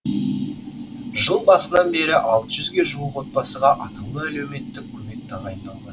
жыл басынан бері алты жүзге жуық отбасыға атаулы әлеуметтік көмек тағайындалған